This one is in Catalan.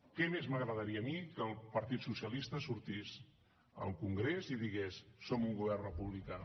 què més m’agradaria a mi que el partit socialista sortís al congrés i digués som un govern republicà